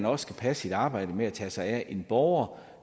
også passe sit arbejde med at tage sig af en borger